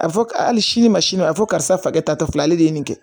A fɔ ka hali sini ma sini ma a fɔ karisa e ta tɛ fila ale de ye nin kɛ